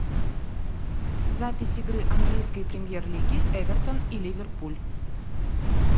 запись игры английской премьер лиги эвертон и ливерпуль